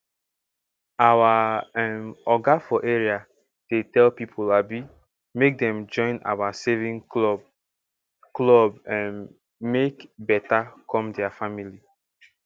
our um oga for area dey tell people um make dem join our saving club club um make beta come diir family